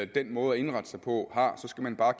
den måde at indrette sig på har skal man bare